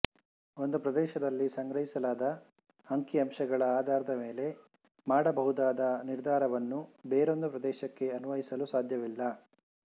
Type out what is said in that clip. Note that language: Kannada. ಒಂದು ಪ್ರದೇಶದಲ್ಲಿ ಸಂಗ್ರಹಿಸಲಾದ ಅಂಕಿಅಂಶಗಳ ಆಧಾರದ ಮೇಲೆ ಮಾಡಬಹುದಾದ ನಿರ್ಧಾರವನ್ನು ಬೇರೊಂದು ಪ್ರದೇಶಕ್ಕೆ ಅನ್ವಯಿಸಲು ಸಾಧ್ಯವಿಲ್ಲ